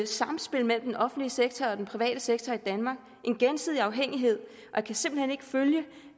samspil mellem den offentlige sektor og den private sektor i danmark og en gensidig afhængighed jeg kan simpelt hen ikke følge